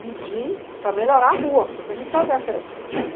pedir para melhorar a rua, porque a gente precisava ter acesso.